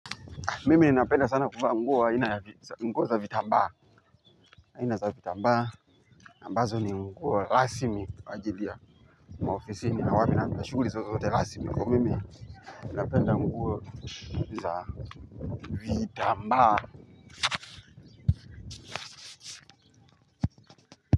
Mimi ninapenda sana kuvaa nguo za vitambaa. Aina za vitambaa, ambazo ni nguo rasmi kwaajili ya maofisini na wapi na wapi na shughuli zozote rasmi. Kwa hiyo, mimi napenda nguo za vitambaa.